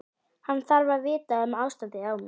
Hann þarf að vita um ástandið á mér.